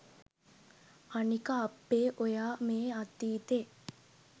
අනික අප්පේ ඔයා මේ අතීතෙ